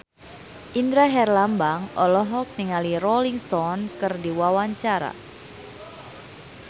Indra Herlambang olohok ningali Rolling Stone keur diwawancara